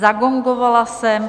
Zagongovala jsem.